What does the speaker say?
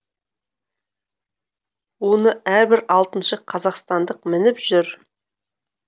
оны әрбір алтыншы қазақстандық мініп жүр